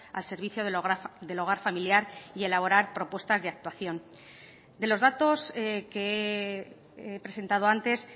al servicio del hogar familiar y elaborar propuestas de actuación de los datos que he presentado antes